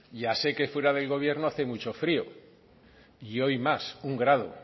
ya sé que fuera del gobierno hace mucho frio y hoy más un grado